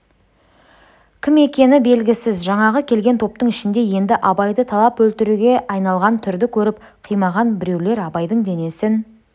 кім екені белгісіз жаңағы келген топтың ішінде енді абайды талап өлтіруге айналған түрді көріп қимаған біреулер абайдың денесін